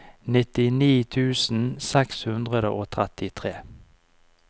nittini tusen seks hundre og trettitre